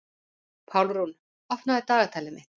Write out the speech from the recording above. Pálrún, opnaðu dagatalið mitt.